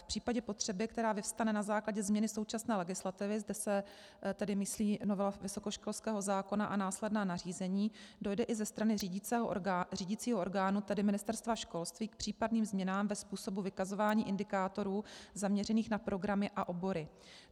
V případě potřeby, která vyvstane na základě změny současné legislativy - zde se tedy myslí novela vysokoškolského zákona a následná nařízení - dojde i ze strany řídicího orgánu, tedy Ministerstva školství, k případným změnám ve způsobu vykazování indikátorů zaměřených na programy a obory.